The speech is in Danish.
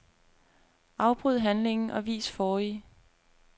Afbryd handlingen og vis forrige.